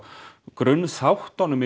grunnþáttunum